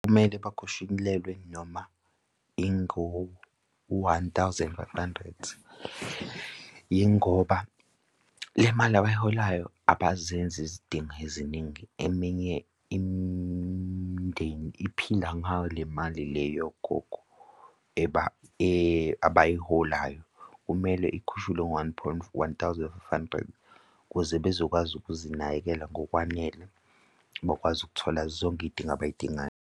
Kumele bakhushulelwe noma ingo-one thousand five hundred, yingoba le mali abayiholayo abazenzi izidingo eziningi. Eminye imindeni iphila ngayo le mali le yogogo abayiholayo kumele ikhushulwe one point one thousand five hundred, ukuze bezokwazi ukuzinakekela ngokwanele ngokwazi ukuthola zonke iy'dingo abay'dingayo.